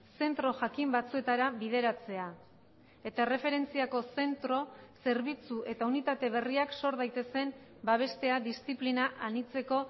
zentro jakin batzuetara bideratzea eta erreferentziako zentro zerbitzu eta unitate berriak zor daitezen babestea diziplina anitzeko